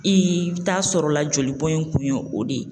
I bɛ taa sɔrɔ la jolibɔn in kun ye o de ye.